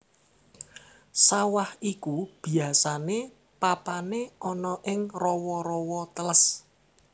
Sawah iku biasané papané ana ing rawa rawa teles